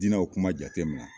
Dinaw kuma jatemina